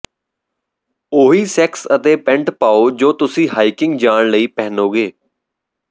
ਉਹੀ ਸੈਕਸ ਅਤੇ ਪੈਂਟ ਪਾਓ ਜੋ ਤੁਸੀਂ ਹਾਈਕਿੰਗ ਜਾਣ ਲਈ ਪਹਿਨੋਗੇ